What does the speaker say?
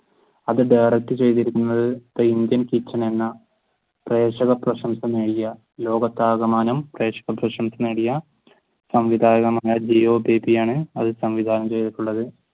അത് direct ചെയ്തിരിക്കുന്നത് പ്രേക്ഷക പ്രശംസ നേടിയ ലോകത്തു ആകമാനം പ്രേക്ഷക പ്രശംസ നേടിയ സംവിധായകൻ അത് സംവിധാനം ചെയ്തിട്ടുള്ളത്